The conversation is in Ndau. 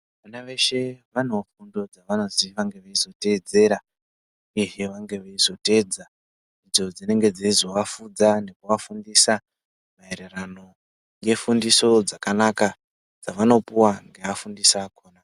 Vana veshe vanoo fundo dzakanasirwa ngekuzoteedzera uyehe vange veizoteedza idzo dzinenge dzeizovafudza nekuafundisa maererano ngefundiso dzakanaka dzavanopuwa ngevafundisi vakhona.